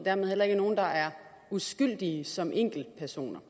er der heller ikke nogen der er uskyldige som enkeltpersoner